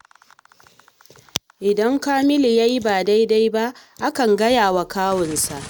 Idan Kamilu ya yi ba daidai ba akan gaya wa kwawunsa